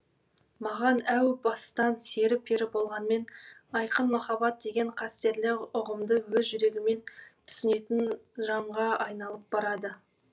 маған әу бастан сері пері болғанмен айқын махаббат деген қастерлі ұғымды өз жүрегімен түсінетін жанға айналып барады